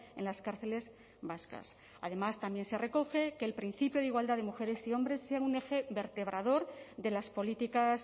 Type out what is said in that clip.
en las cárceles vascas además también se recoge que el principio de igualdad de mujeres y hombres sea un eje vertebrador de las políticas